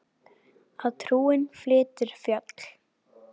Að trúin flytur fjöll.